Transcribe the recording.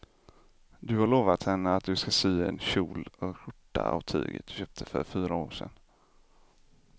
Du har lovat henne att du ska sy en kjol och skjorta av tyget du köpte för fyra år sedan.